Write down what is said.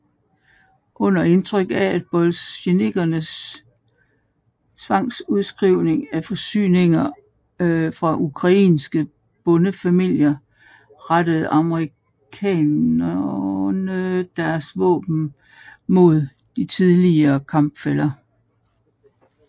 Under indtryk af bolsjevikkernes tvangsudskrivning af forsyninger fra ukrainske bondefamilier rettede anarkisterne deres våben mod de tidligere kampfæller